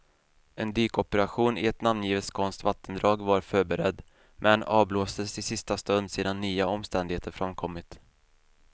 En dykoperation i ett namngivet skånskt vattendrag var förberedd, men avblåstes i sista stund sedan nya omständigheter framkommit.